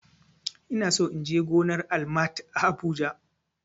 Ina so in je gonar Almat a habuja